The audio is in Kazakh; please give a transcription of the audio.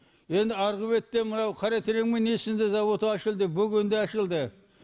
енді арғы бетте мынау қаратереңнің несінде зауыты ашылды бөгенде ашылды